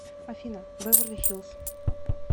афина бэверли хиллз